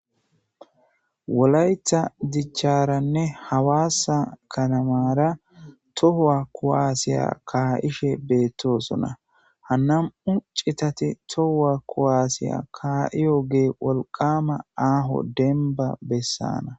Wolayta dicharanne hawassa katamara tohuwa kuwasse ka'ishshen bettosona ha na'mu c'itati tohuwa kuwassiya ka'iyogge wolqqama aho demba bessana.